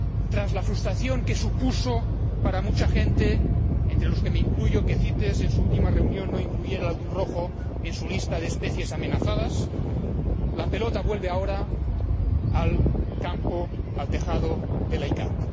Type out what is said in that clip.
Tras la frustración que supuso para mucha gente, entre los que me incluyo, que CITES en su última reunión no incluyera el atún rojo en su lista de especies amenazadas, la pelota vuelve ahora al tejado de la CICAA.